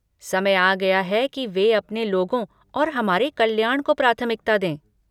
समय आ गया है कि वे अपने लोगों और हमारे कल्याण को प्राथमिकता दें।